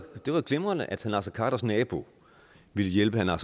jo glimrende at herre naser khaders nabo ville hjælpe herre